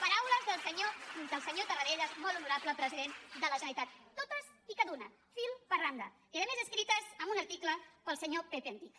paraules del senyor tarradellas molt honorable president de la generalitat totes i cada una fil per randa i a més escrites en un article pel senyor pepe antich